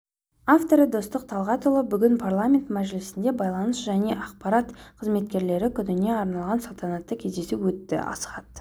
авторы достық талғатұлы бүгін парламент мәжілісінде байланыс және ақпарат қызметкерлері күніне арналған салтанатты кездесу өтті асхат